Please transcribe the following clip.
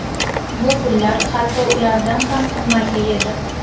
Bu pullar hatto ulardan ham qimmatli edi.